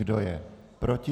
Kdo je proti?